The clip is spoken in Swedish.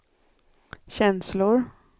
känslor